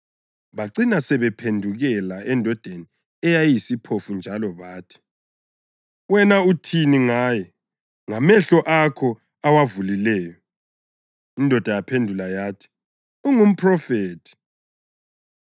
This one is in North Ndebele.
Bacina sebephendukela endodeni eyayiyisiphofu njalo bathi, “Wena uthini ngaye? Ngamehlo akho awavulileyo.” Indoda yaphendula yathi, “Ungumphrofethi.”